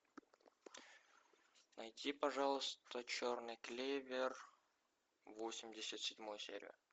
найди пожалуйста черный клевер восемьдесят седьмую серию